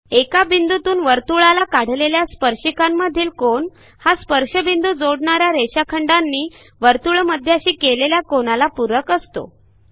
एका बिंदूतून वर्तुळाला काढलेल्या स्पर्शिकांमधील कोन हा स्पर्शबिंदू जोडणा या रेषाखंडानी वर्तुळमध्याशी केलेल्या कोनाला पूरक असतो